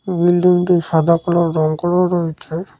বিল্ডিংটি সাদাকালো রং করাও রয়েছে।